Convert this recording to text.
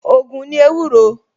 Ògùn ni ewúro